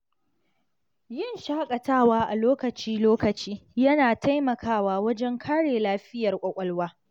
Yin shakatawa a lokaci-lokaci yana taimakawa wajen kare lafiyar kwakwalwa.